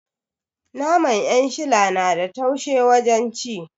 Naman 'yanshila na da taushe wajen ci